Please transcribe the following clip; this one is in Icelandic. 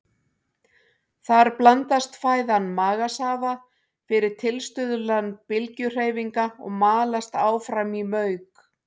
Þar blandast fæðan magasafa fyrir tilstuðlan bylgjuhreyfinga og malast áfram í mauk.